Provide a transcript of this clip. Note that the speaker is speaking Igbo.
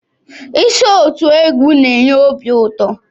Iso otú égwu n'enye obi ụtọ.